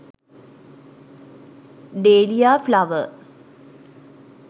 deliya flower